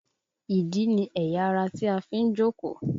Ìdí ni ẹ̀yà ara tí a fi ń jókòó